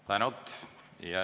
Tänud!